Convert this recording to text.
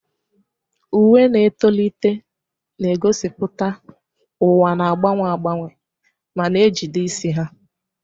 Uwe na-etolite, na-egosipụta ụwa na-agbanwe agbanwe, ma na-ejide isi ha.